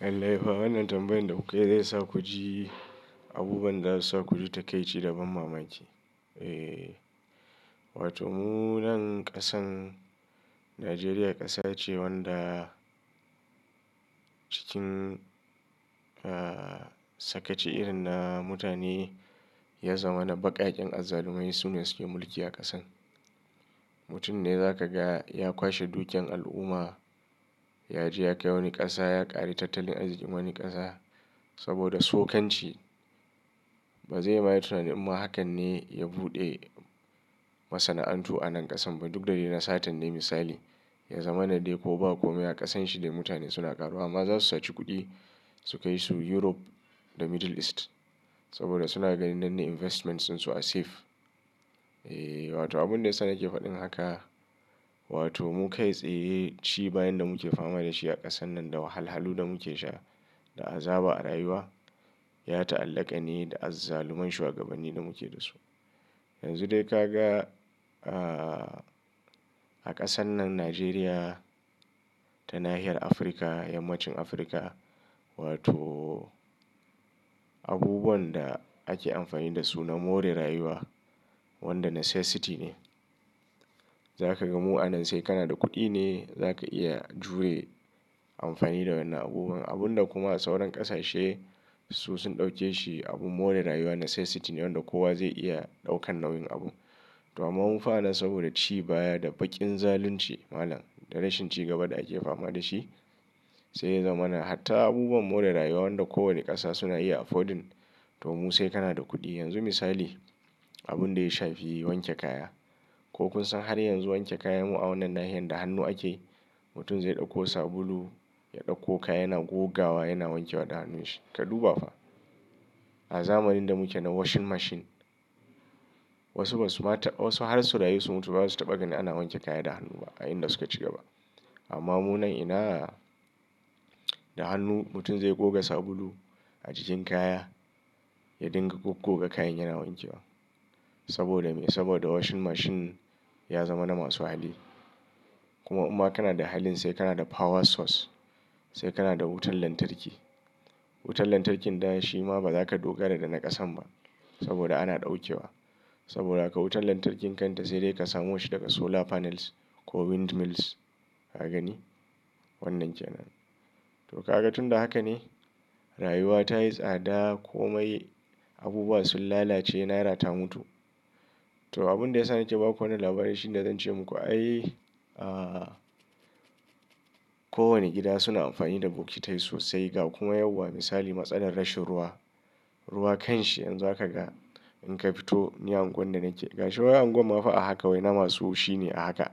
Lallai fa wannan tambayan da kuka yi zai sa ku ji abubuwan da zasu sa ku ji takaici da ban mamaki. Wato mu nan ƙasan Najeriya ƙasa ce wanda cikin sakaci irin na mutane ya zama na baƙaƙen azzalumai su ne suke mulki a ƙasan. Mutum ne zaka ga ya kwashe dukiyar al'umma, ya ji ya kai wani ƙasa, ya ƙari tattalin arzikin wani ƙasa saboda sokan ci ba zai ma yi tunanin ma hakan ne ya buɗe masana'antu a nan ƙasan ba. Duk da dai na satan dai misali ya zama na dai ko ba komai a ƙasan shi dai mutane suna ƙaruwa. Ma za su saci kuɗi su kai su Europe da Middle East saboda suna ganin nan ne investment su are safe. Eh wato abun da yasa nake faɗin haka wato mu kai tsaye ci bayan da muke fama da shi a ƙasan nan da wahalhalun da muke sha da azaba a rayuwa ya ta'allaka ne da azzaluman shugabanni da muke da su. Yanzu dai ka ga a ƙasan nan Najeriya ta Nahiyar Afrika, Yammacin Afrika wato abubuwan da ake amfani da su na more rayuwa wanda necessity ne. Za ka ga mu a nan sai kana da kuɗi ne za ka iya jure amfani da wannan abubuwan. Abun da kuma sauran ƙasashe su sun ɗauke shi abun more rayuwa necessity ne wanda kowa zai iya ɗaukan nauyin abu. To amma mu fa a nan saboda ci baya da baƙin zalunci malam da rashin ci gaba da ake fama da shi sai ya zama na hatta abubuwan more rayuwa wanda kowane ƙasa suna iya affording to mu sai kana da kuɗi. Yanzu misali abun da ya shafi wanke kaya. Ko kun san har yanzu wanke kayan mu a wannan nahiyar da hannu ake? Mutum zai ɗauko sabulu, ya ɗauko kaya yana gogawa yana wanke wa da hannun shi. Ka duba fa a zamanin da muke na washing machine wasu ba su ma ta wasu har sau rayu su mutu ba su taɓa ganin ana wanke kaya da hannu ba a inda suka ci gaba. Amma mu nan ina da hannu mutum zai goga sabulu a cikin kaya ya dinga goggoga kayan yana wanke wa. Saboda me? Saboda washing machine ya zama na masu hali. Kuma in ma kana da halin sai kana da power source sai kana da wutar lantarki. Wutar lantarkin da shi ma ba za ka dogara da na ƙasan ba saboda ana ɗauke wa. Saboda haka wutar lantarkin kanta sai dai ka samo shi daga solar panels ko windmills ka gani wannan kenan. To ka ga tun da haka ne rayuwa ta yi tsada komai abubuwa sun lalace naira ta mutu. To abun da ya sa nake ba ku wannan labari shi ne zan ce muku ai a ko wane gida suna amfani da bokitai sosai ga kuma yauwa misali matsalar rashin ruwa. Ruwa kanshi yanzu zaka ga in ka fito niyar unguwar da nake ga shi wai unguwar ma fa ahaka wai na masu shi ne a haka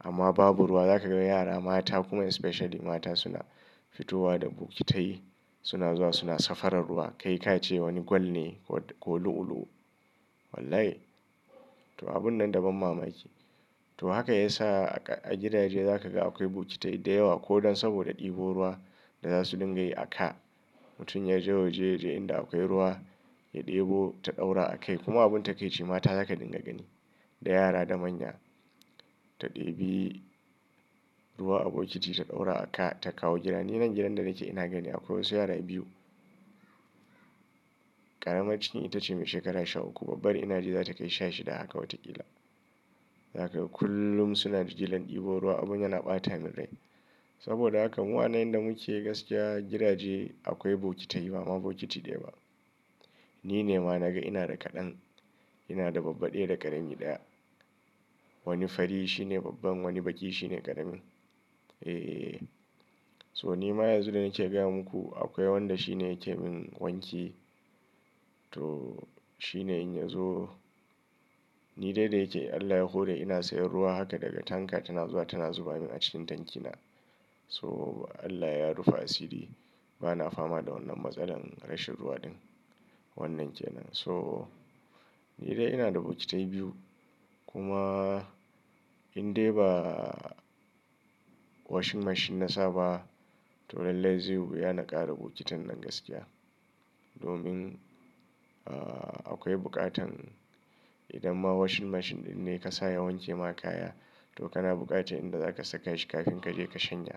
amma babu ruwa za ka ga yara mata kuma especially mata suna fitowa da bokitai suna zuwa suna safarar ruwa kai ka ce wani gwal ne ko lu'ulu'u. Wallahi! To abun nan da ban mamaki. To haka ya sa a gidaje za ka ga akwai bokitai da yawa ko don saboda ɗebo ruwa da za su dinga yi a ka. Mutum ya je waje yaje inda akwai ruwa ya ɗebo ta ɗaura a kai kuma abun ta ke ci mata za ka dinga gani da yara da manya ta ɗebi ruwa a bokiti ta ɗaura a ka ta kawo gida. Ni nan gidan da nake ina gani akwai wasu yara biyu ƙaramar ciki ita ce mai shekara sha uku babbar ina ji za ta kai sha shida haka wataƙila. Za ka ga kullum suna jigilan ɗebo ruwa abun yana ɓata min rai. Saboda haka mu a nan inda muke gaskiya gidaje akwai bokitai ba ma bokiti daya ba. Ni ne ma naga ina da kaɗan ina da babba ɗaya da ƙarami ɗaya. Wani fari shi ne babban wani baƙi shi ne ƙaramin. Eh so ni ma yanzu da nake gaya muku akwai wanda shi ne yake mun wanki to shi ne in ya zo ni dai da yake Allah ya hore ina sayen ruwa haka daga tanka tana zuwa tana zuba mun a cikin tanki na. So Allah ya rufa asiri ba na fama da wannan matsalar rashin ruwa din wannan kenan. So ni dai ina da bokitai biyu kuma in dai ba washing machine na saba to lallai zai wuya na ƙara bokitan nan gaskiya domin akwai buƙatan idan ma washing machine ɗin ne ka sa ya wanke ma kaya to kana buƙatar inda za ka saka shi kafin ka je ka canja.